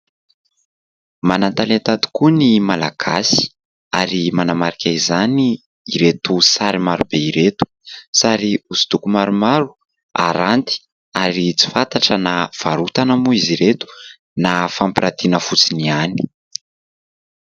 Manan-talenta tokoa ny malagasy ary manamarika izany ireto sary maro be ireto. Sary hosodoko maromaro aranty ary tsy fantatra na varotana moa izy ireto na fampirantiana fotsiny ihany.